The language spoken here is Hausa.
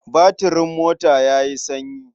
Batirin mota ya yi sanyi.